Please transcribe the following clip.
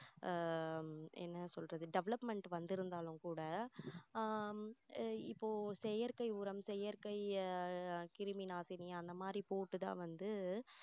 ஆஹ் என்ன சொல்றது development வந்து இருந்தாலும் கூட ஆஹ் இப்போ செயற்கை உரம் செயற்கை ஆஹ் கிருமி நாசினி அந்த மாதிரி போட்டு தான் வந்து